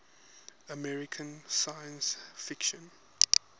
american science fiction